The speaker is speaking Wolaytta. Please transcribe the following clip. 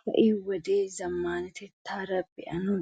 Ha"i wodiya zammaanatettaara biyanne